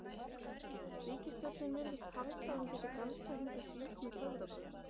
Ríkisstjórnin virðist halda að hún geti galdrað hingað síld með töfrabrögðum.